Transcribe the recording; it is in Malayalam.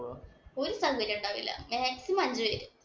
ഒരു സൗകര്യോ ഉണ്ടാവില്ല. Maximum അഞ്ച് പേര്.